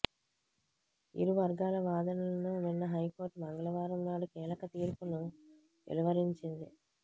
ఇరు వర్గాల వాదనలను విన్న హైకోర్టు మంగళవారం నాడు కీలక తీర్పును వెలువరించింది